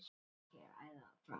Réttur til frelsis í kynlífi